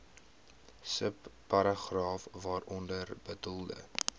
subparagraaf waaronder bedoelde